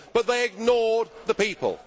But they ignored the people.